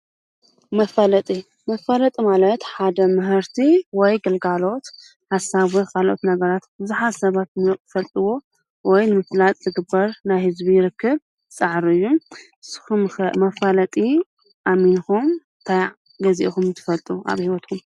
መፋለጢ ማለት ሓደ ምህርቲ ወይ ግልጋሎት ሓሳብ ካልኦት ነገራት ብዙሓት ሰባት ንኽፈልጥዎ ወይ ንምፍላጥ ዝግበር ናይ ህዝቢ ርከብ ፃዕርን እዩ። ንስኹምከ መፋለጢ ኣሚንኩም ታይ ገዚእኩም ትፈልጡ ኣብ ህይወትኹም?